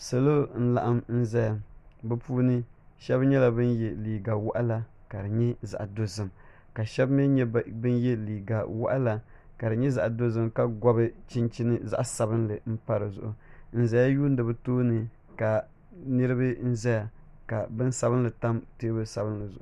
Salo n laɣim n zaya bi puuni shɛb nyɛla ban yɛ liga waɣala ka di nyɛ zaɣa dozim ka shɛb mi nyɛ ban yɛ liga waɣala ka di nyɛ zaɣa dozim ka gobi chinchini zaɣa sabinli n pa dizuɣu n zaya yuudi bi too ni ka niriba zaya ka bin sabinli tam teebuli sabinli zuɣu.